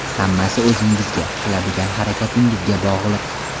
Hammasi o‘zingizga, qiladigan harakatingizga bog‘liq.